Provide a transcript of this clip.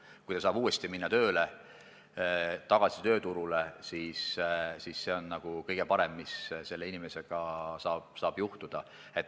See, kui ta saab minna uuesti tööle, tagasi tööturule, on kõige parem, mis selle inimesega saab juhtuda.